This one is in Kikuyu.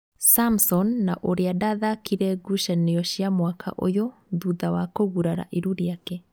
Samson na ũrĩa ndathakire ngucanio cia mwaka ũyũ thutha wakũgurara iru rĩake